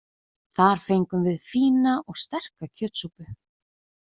Þar fengum við fína og sterka kjötsúpu.